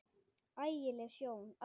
Ægi leg sjón alveg.